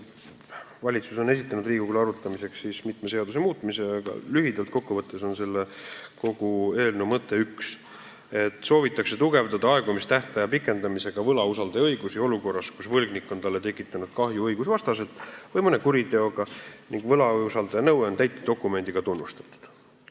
Valitsus on esitanud Riigikogule arutamiseks mitme seaduse muutmise, aga lühidalt kokku võttes on kogu eelnõu mõte üks: aegumistähtaja pikendamisega soovitakse suurendada võlausaldaja õigusi olukorras, kus võlgnik on talle tekitanud kahju õigusvastaselt, sh mõne kuriteoga, ning võlausaldaja nõue on täitedokumendiga tunnustatud.